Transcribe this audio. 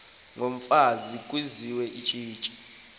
yomfazi kwizizwe ezi